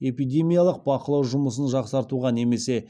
эпидемиялық бақылау жұмысын жақсартуға немесе